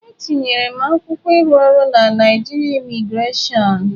Etinyere m akwụkwọ ịrụ ọrụ na Naịjirịa Imigrasion.